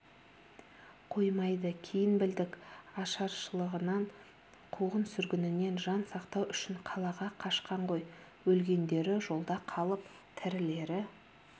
қоймайды кейін білдік ашаршылығынан қуғын-сүргінінен жан сақтау үшін қалаға қашқан ғой өлгендері жолда қалып тірілері